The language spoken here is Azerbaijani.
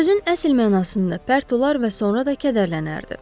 Sözün əsl mənasında pərt olar və sonra da kədərlənərdi.